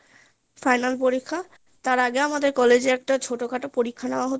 Final পরীক্ষা তার আগে আমাদের college এ একটা ছোটো খাটো পরীক্ষা নেওয়া হতো